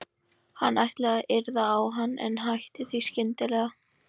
Hann kom fram í afdrepið og tók í hurðarhúninn.